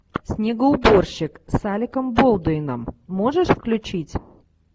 снегоуборщик с алеком болдуином можешь включить